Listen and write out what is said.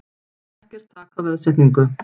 Ekkert þak á veðsetningu